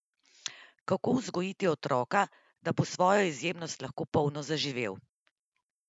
Kako vzgojiti otroka, da bo svojo izjemnost lahko polno zaživel?